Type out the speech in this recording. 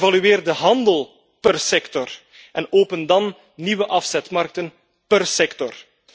Evalueer de handel per sector en open dan nieuwe afzetmarkten per sector.